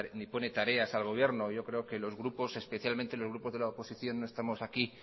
ni pone tareas al gobierno yo creo que los grupos especialmente los grupos de la oposición no estamos aquí